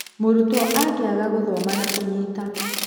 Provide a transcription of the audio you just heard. Mũrutwo angĩaga gũthoma na kũnyita